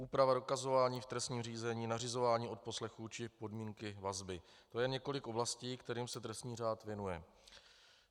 Úprava dokazování v trestním řízení, nařizování odposlechů či podmínky vazby, to je několik oblastí, kterým se trestní řád věnuje.